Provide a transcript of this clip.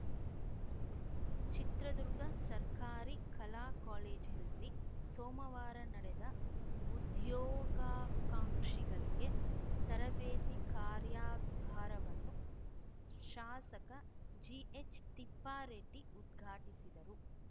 ಚಿತ್ರದುರ್ಗ ಸರ್ಕಾರಿ ಕಲಾ ಕಾಲೇಜಿನಲ್ಲಿ ಸೋಮವಾರ ನಡೆದ ಉದ್ಯೋಗಾಕಾಂಕ್ಷಿಗಳಿಗೆ ತರಬೇತಿ ಕಾರ್ಯಾಗಾರವನ್ನು ಶಾಸಕ ಜಿಎಚ್‌ತಿಪ್ಪಾರೆಡ್ಡಿ ಉದ್ಘಾಟಿಸಿದರು